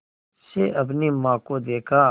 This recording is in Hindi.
से अपनी माँ को देखा